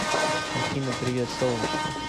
афина привет солнышко